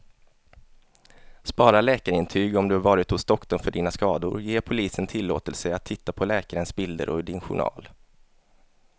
Spara läkarintyg om du varit hos doktorn för dina skador, ge polisen tillåtelse att titta på läkarens bilder och din journal.